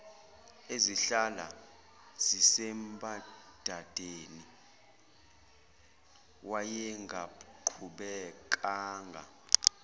ezihlala zisembadadeni wayengaqhubekanga